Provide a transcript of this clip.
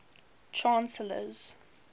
chancellors